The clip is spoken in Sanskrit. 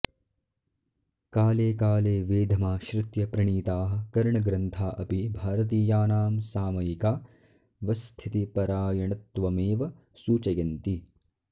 काले काले वेधमाश्रित्य प्रणीताः करणग्रन्था अपि भारतीयानां सामयिकावस्थितिपरायणत्वमेव सूचयन्ति